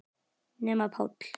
Nema Páll.